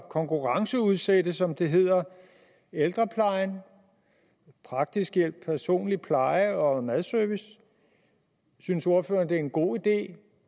konkurrenceudsætte som det hedder ældreplejen praktisk hjælp personlig pleje og madservice synes ordføreren det er en god idé